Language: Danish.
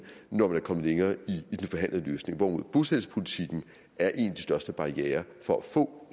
når man er kommet længere i den forhandlede løsning hvorimod bosættelsespolitikken er en af de største barrierer for at få